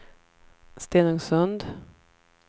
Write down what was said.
Stenungsund